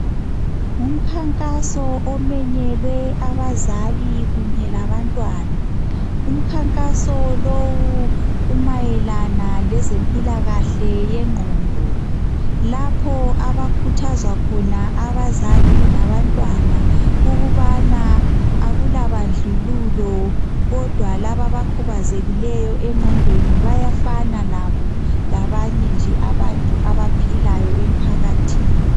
Ngumkhankaso omenyelwe abazali labantwana umkhankaso lowu umayelane lezempilakahle yengqondo lapha abakhuthazwa khona abazali labantwana ukubana akula bandlululo kodwa laba abakhubazekileyo egqondweni bayafana labo labanye nje abantu abaphilayo emphakathini